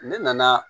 Ne nana